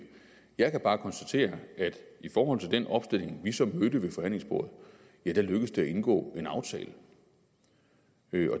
jeg kan bare konstatere at i forhold til den opstilling vi så mødte ved forhandlingsbordet lykkes det at indgå en aftale